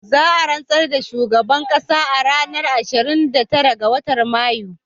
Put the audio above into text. Za a rantsar da shugaban ƙasa a ranar ashirin da tara ga watan Mayu